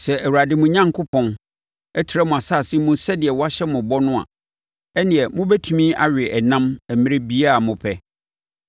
Sɛ Awurade, mo Onyankopɔn, trɛ mo asase mu sɛdeɛ wahyɛ mo ho bɔ no a, ɛnneɛ, mobɛtumi awe ɛnam mmerɛ biara a mopɛ.